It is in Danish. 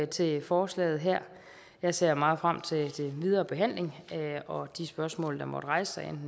til forslaget her jeg ser meget frem til den videre behandling og de spørgsmål der måtte rejse sig